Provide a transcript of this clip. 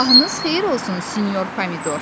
Sabahınız xeyir olsun, sinyor Pomidor.